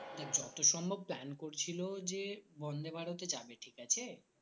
দেখ যত সম্ভব plan করছিলো যে বন্দেভারত এ যাবে ঠিক আছে।